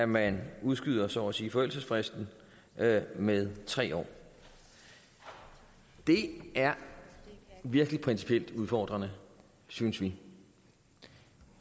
man udskyder så at sige forældelsesfristen med med tre år det er virkelig principielt udfordrende synes vi